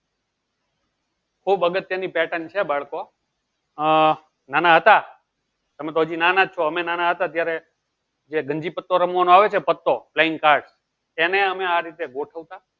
ખૂબ અગત્યની pattern છે બાળકો આહ નાના હતા તમે તો હજી નાના છો અમે નાના હતા ત્યારે જે ગંજી પતો રમવાનો આવે છે જે પત્તો playing card એને અમે આવી રીતે ગોઠવતા